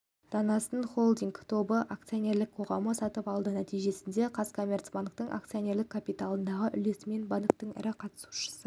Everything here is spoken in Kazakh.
данасын холдинг тобы акционерлік қоғамы сатып алды нәтижесінде қазкоммерцбанктің акционерлік капиталындағы үлесімен банктің ірі қатысушысы